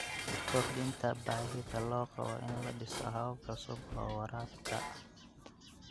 Kordhinta baahida loo qabo in la dhiso habab cusub oo waraabka.